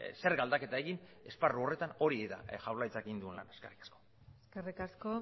zerga aldaketa egin esparru horretan hori da jaurlaritzak egin duena eskerrik asko eskerrik asko